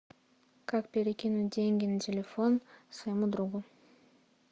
как перекинуть деньги на телефон своему другу